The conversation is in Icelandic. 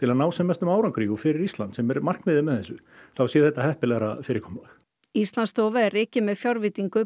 að ná sem mestum árangri fyrir Ísland sem er markmiðið með þessu þá sé þetta heppilegra fyrirkomulag Íslandsstofa er rekin með fjárveitingu